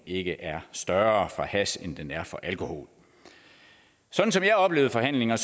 ikke er større for hash end den er for alkohol sådan som jeg oplevede forhandlingerne